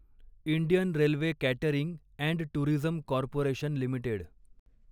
Indian railway catering and tourism corporation limited